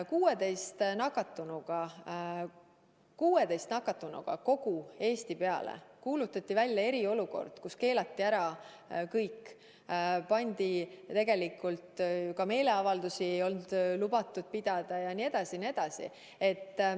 16 nakatunuga kogu Eesti peale kuulutati välja eriolukord, keelati ära kõik, ka meeleavaldusi ei olnud lubatud pidada jne.